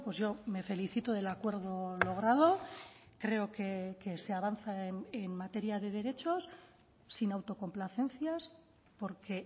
yo me felicito del acuerdo logrado creo que se avanza en materia de derechos sin autocomplacencias porque